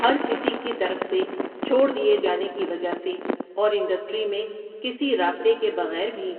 ہر کسی کی طرف سے چھوڑدیئے جانے کی وجہ سے اور انڈسٹری میں کسی رابطے کے بغیر بھی،